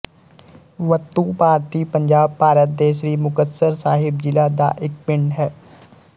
ਵੱਤੂ ਭਾਰਤੀ ਪੰਜਾਬ ਭਾਰਤ ਦੇ ਸ੍ਰੀ ਮੁਕਤਸਰ ਸਾਹਿਬ ਜ਼ਿਲ੍ਹਾ ਦਾ ਇੱਕ ਪਿੰਡ ਹੈ